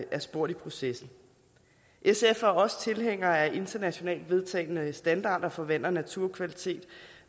spurgt i processen sf er også tilhængere af internationalt vedtagne standarder for vand og naturkvalitet